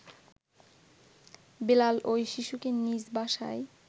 বেলাল ওই শিশুকে নিজ বাসায়